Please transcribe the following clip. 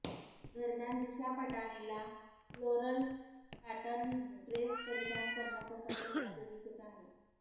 दरम्यान दिशा पटानीला floral pattern dress परिधान करणं पसंत असल्याचे दिसत आहे